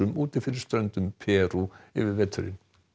úti fyrir ströndum Perú yfir veturinn